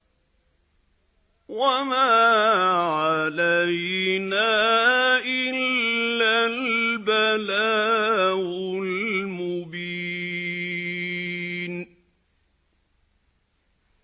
وَمَا عَلَيْنَا إِلَّا الْبَلَاغُ الْمُبِينُ